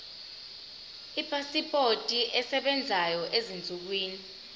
ipasipoti esebenzayo ezinsukwini